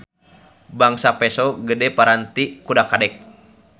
Bangsa peso gede paranti kudak-kadek.